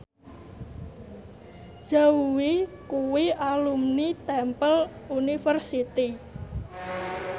Zhao Wei kuwi alumni Temple University